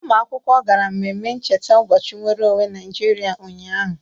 Ụmụ akwụkwọ gara mmemme ncheta ụbọchị nwere onwe Naịjiriịa ụnyaahụ.